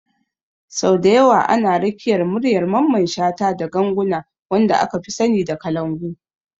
Sau da yawa ana rakiyar muryar Mamman shata da ganguna, wanda aka fi sani da kalangu.